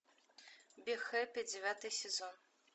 би хеппи девятый сезон